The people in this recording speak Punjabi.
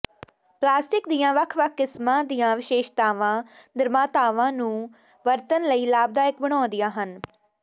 ਪਲਾਸਟਿਕ ਦੀਆਂ ਵੱਖ ਵੱਖ ਕਿਸਮਾਂ ਦੀਆਂ ਵਿਸ਼ੇਸ਼ਤਾਵਾਂ ਨਿਰਮਾਤਾਵਾਂ ਨੂੰ ਵਰਤਣ ਲਈ ਲਾਭਦਾਇਕ ਬਣਾਉਂਦੀਆਂ ਹਨ